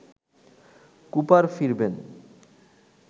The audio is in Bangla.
কুপার ফিরবেন